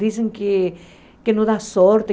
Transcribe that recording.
Dizem que que não dá sorte.